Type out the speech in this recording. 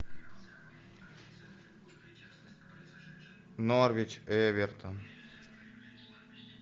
норвич эвертон